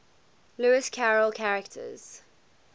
lewis carroll characters